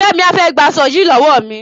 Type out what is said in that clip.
Fẹ́mi á fẹ́ gba aṣo yìí lọ́wọ́ mi.